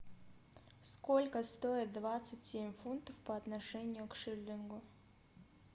сколько стоит двадцать семь фунтов по отношению к шиллингу